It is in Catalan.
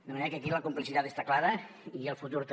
de manera que aquí la complicitat està clara i el futur també